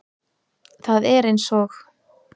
Það er eins og